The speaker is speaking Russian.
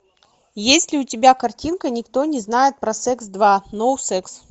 есть ли у тебя картинка никто не знает про секс два ноу секс